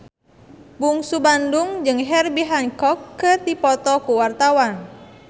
Bungsu Bandung jeung Herbie Hancock keur dipoto ku wartawan